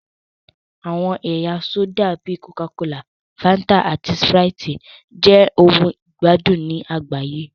Àwọn ẹ̀yà sódà bíi kòká kolà, Fáńtà, àti Sprite jẹ́ ohun ìgbádùn ní àgbáyé